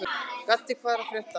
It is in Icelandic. Gaddi, hvað er að frétta?